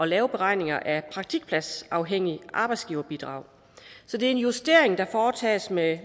lave beregninger af praktikpladsafhængigt arbejdsgiverbidrag så det er en justering der foretages med